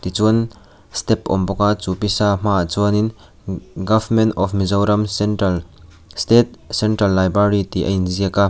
tichuan step awm bawk a chu pisa hmaah chuanin government of mizoram central state central library tih a inziak a.